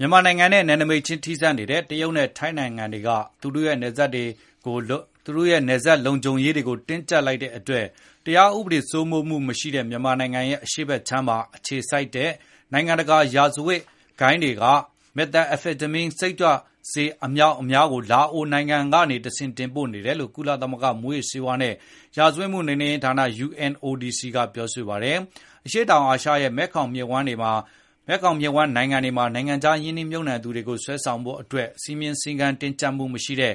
မြန်မာနိုင်ငံနဲ့ နယ်နိမိတ်ခြင်း ထိစပ်နေတဲ့ တရုတ်နဲ့ ထိုင်းနိုင်ငံတွေက သူတို့ရဲ့ နယ်စပ်လုံခြုံရေးတွေကို တင်းကြပ်လိုက်တဲ့ အတွက် တရားဥပဒေ စိုမိုးမှု မရှိတဲ့ မြန်မာနိုင်ငံရဲ့ အရှေ့ဖက်ခြမ်းမှာ အခြေစိုက်တဲ့ နိုင်ငံတကာ ရာဇဝတ်မှုဂိုဏ်းတွေက Methamphetamine စိတ်ကြွဆေး အမြောက်အများကို လာအိုနိုင်ငံကနေတဆင့် တင်ပို့နေတယ်လို့ ကုလသမဂ္ဂ မူးယစ်ဆေးဝါးနဲ့ ရာဇဝတ်မှု ဌာန UNODC က ပြောဆိုလိုက်ပါတယ်။ အရှေ့တောင်အာရှရဲ့ မဲခေါင်မြစ်ဝှမ်း နိုင်ငံတွေမှာ နိုင်ငံခြား ရင်းနှီးမြှုပ်နှံသူတွေကို ဆွဲဆောင်ဖို့အတွက် စည်းမျဉ်းစည်းကမ်း တင်းကြပ်မှုမရှိတဲ့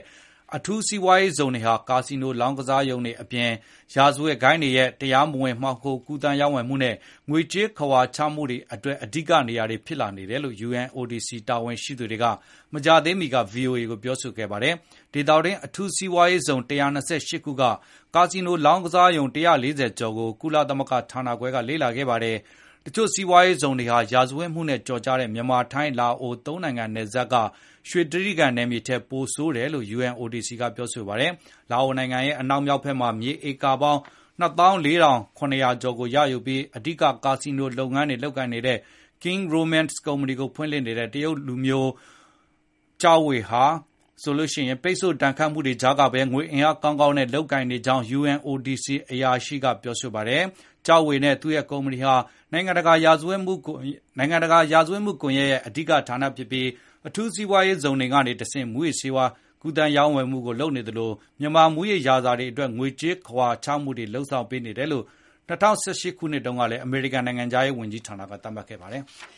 အထူးစီးပွားရေးဇုံတွေဟာ ကာစီနို လောင်းကစားရုံတွေ အပြင်၊ ရာဇဝတ်ဂိုဏ်းတွေရဲ့ တရားမဝင် မှောင်ခို ကူးသန်းရောင်းဝယ်မှုနဲ့ ငွေကြေးခဝါချမှုတွေ အတွက် အဓိကနေရာ ဖြစ်လာနေတယ်လို့ UNODC တာဝန်ရှိ သူတွေက မကြာသေးမီက ဗွီအိုအေကို ပြောဆိုခဲ့ပါတယ်။ ဒေသတွင်း အထူးစီးပွားရေးဇုံ ၁၂၈ ခုက ကာစီနို လောင်းကစားရုံ ၁၄၀ ကျော်ကို ကုလသမဂ္ဂဌာနခွဲက လေ့လာခဲ့ပါတယ်။ တချို့စီးပွားရေး အထူးဇုံတွေဟာ ရာဇဝတ်မှုနဲ့ ကျော်ကြားတဲ့ မြန်မာ-ထိုင်း-လာအို ၃ နိုင်ငံနယ်စပ်ဆုံရာ ရွှေတြိဂံထက် ပိုဆိုးတယ်လို့ UNODC ကဆိုပါတယ်။ လာအိုနိုင်ငံရဲ့ အနောက်မြောက်ဘက်မှာ မြေဧက ၂၄,၇၀၀ ကျော်ကိုရယူပြီး အဓိက ကာစီနိုလုပ်ငန်း Kings Romans ကို ဖွင့်လှစ်ထားတဲ့ တရုတ်လူမျိုး Zhao Wei ဟာဆိုရင် ပိတ်ဆို့ဒဏ်ခတ်မှုတွေကြားမှာပဲ ငွေကြေးအင်အား ကောင်းကောင်းနဲ့ လုပ်ကိုင်နေကြောင်း UNODC အရာရှိ Jeremy Douglas ကပြောပါတယ်။ Zhao Wei နဲ့သူရဲ့ ကုမ္ပဏီဟာ နိုင်ငံတကာ ရာဇဝတ်မှု ကွန်ရက်ရဲ့ အဓိက ဌာနဖြစ်ပြီး အထူးစီးပွားရေဇုံတွေ ကနေ တဆင့် မူးယစ်ဆေးဝါး ရောင်းဝယ်ကူးသန်းမှုတွေကို လုပ်နေသလို မြန်မာ မူးယစ်ရာဇာတွေအတွက် ငွေကြေးခဝါချမှုတွေ လုပ်ဆောင် ပေးနေတယ်လို့ ၂၀၁၈ ခုနှစ်တုန်းက အမေရိကန် ဘဏ္ဍာရေး ဝန်ကြီးဌာကန ကနေ သတ်မှတ်ခဲ့ပါတယ်။